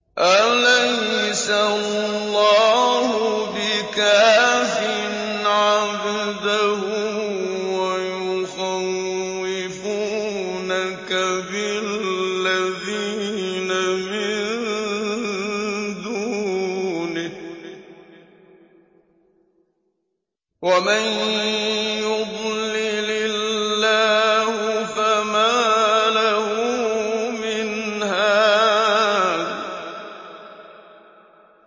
أَلَيْسَ اللَّهُ بِكَافٍ عَبْدَهُ ۖ وَيُخَوِّفُونَكَ بِالَّذِينَ مِن دُونِهِ ۚ وَمَن يُضْلِلِ اللَّهُ فَمَا لَهُ مِنْ هَادٍ